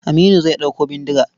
Aminu zai ɗauko bindiga.